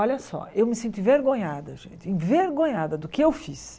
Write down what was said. Olha só, eu me sinto envergonhada, gente, envergonhada do que eu fiz.